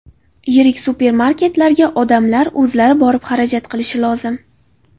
Yirik supermarketlarga odamlar o‘zlari borib, xarajat qilishi lozim.